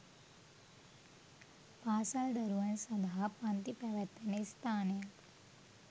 පාසල් දරුවන් සඳහා පන්ති පැවැත්වෙන ස්ථානයක්